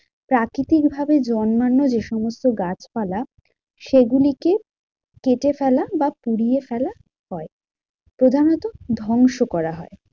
প্রাকৃতিক ভাবে জন্মানো যেসমস্ত গাছপালা সেগুলিকে কেটে ফেলা বা পুড়িয়ে ফেলা হয়। প্রধানত ধ্বংস করা হয়।